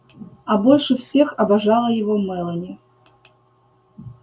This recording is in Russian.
а больше всех обожала его мелани